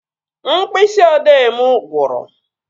Mkpịsị odee mụ gwụrụ